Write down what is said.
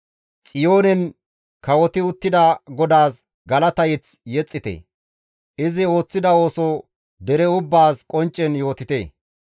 Xiyoonen kawoti uttida GODAAS galata mazamure yexxite; izi ooththida ooso dere ubbaas qonccen yootite.